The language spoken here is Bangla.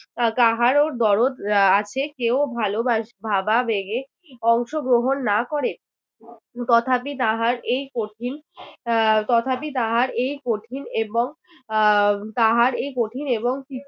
কাহারও দরদ আহ আছে কেউ ভালোবাসে ভাবাবেগে অংশগ্রহণ না করে তথাপি তাহার এই কঠিন আহ তথাপি তাহার এই কঠিন এবং আহ তাহার এই কঠিন এবং